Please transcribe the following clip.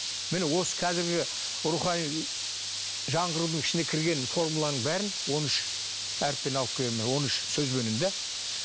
міне осы казіргі рухани жаңғырудың ішіне кірген формуланың бәрін он үш әріппен алып келгенмін он үш сөзбенен де